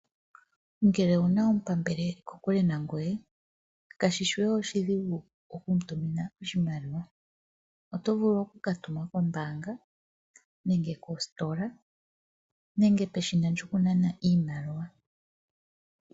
Ngele owuna omupambele eli kokule nangoye kashishi we oshidhigu okumutumina oshimaliwa. Oto vulu oku katuma kombaanga nenge koositola nenge peshina lyokunana iimaliwa.